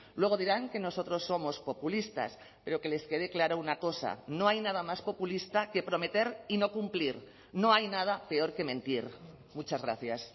luego dirán que nosotros somos populistas pero que les quede clara una cosa no hay nada más populista que prometer y no cumplir no hay nada peor que mentir muchas gracias